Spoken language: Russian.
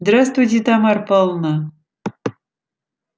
здравствуйте тамара павловна